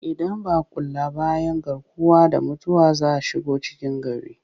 Idan ba a kula ba 'yan garkuwa da mutane za su shigo cikin gari